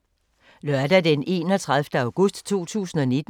Lørdag d. 31. august 2019